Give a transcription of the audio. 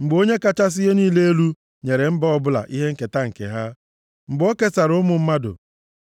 Mgbe Onye kachasị ihe niile elu nyere mba ọbụla ihe nketa nke ha, mgbe o kesara ụmụ mmadụ,